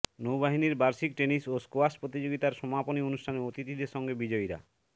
নৌবাহিনীর বার্ষিক টেনিস ও স্কোয়াশ প্রতিযোগিতার সমাপনী অনুষ্ঠানে অতিথিদের সঙ্গে বিজয়ীরা